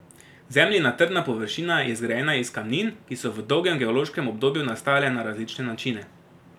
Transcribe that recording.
Zemljina trdna površina je zgrajena iz kamnin, ki so v dolgem geološkem obdobju nastajale na različne načine.